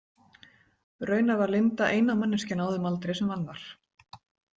Raunar var Linda eina manneskjan á þeim aldri sem vann þar.